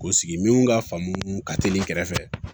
K'o sigi min ka faamu ka teli kɛrɛfɛ